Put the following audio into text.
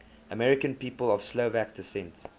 american people of slovak descent